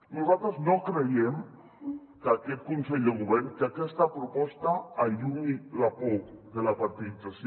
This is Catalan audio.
nosaltres no creiem que aquest consell de govern que aquesta proposta allunyi la por de la partidització